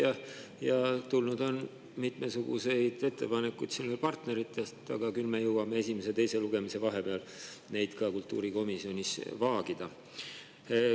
Partneritelt on tulnud ka mitmesuguseid ettepanekuid, aga küll me jõuame esimese ja teise lugemise vahepeal neid kultuurikomisjonis vaagida.